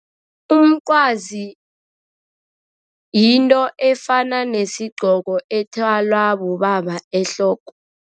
Umncwazi yinto efana nesigqongo ethwalwa bobaba ehloko.